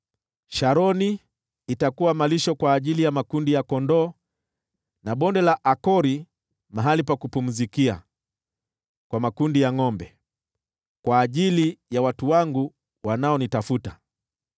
Sharoni itakuwa malisho kwa ajili ya makundi ya kondoo, na Bonde la Akori mahali pa kupumzikia kwa makundi ya ngʼombe, kwa ajili ya watu wangu wanaonitafuta.